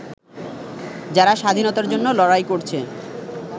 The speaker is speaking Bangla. যারা স্বাধীনতার জন্য লড়াই করছে